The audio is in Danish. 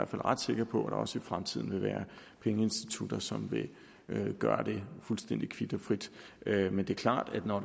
fald ret sikker på at der også i fremtiden vil være pengeinstitutter som vil gøre det fuldstændig kvit og frit men det er klart at når